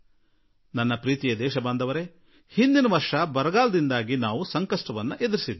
ನನ್ನೊಲವಿನ ದೇಶವಾಸಿಗಳೇ ಕಳೆದ ವರ್ಷ ಬರಗಾಲದಿಂದ ನಾವು ಕಳವಳಕ್ಕೀಡಾಗಿದ್ದೆವು